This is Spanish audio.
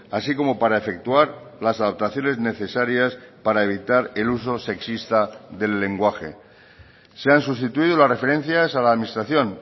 así como para efectuar las adaptaciones necesarias para evitar el uso sexista del lenguaje se han sustituido las referencias a la administración